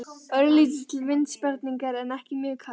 Örlítill vindsperringur en ekki mjög kalt.